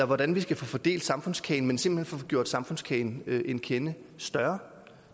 hvordan vi skal få fordelt samfundskagen men simpelt hen får gjort samfundskagen en kende større